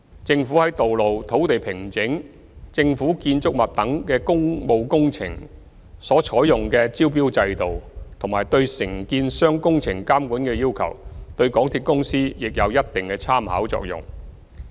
政府在道路、土地平整、政府建築物等的工務工程所採用的招標制度和對承建商工程監管的要求，對港鐵公司亦有一定的參考作用。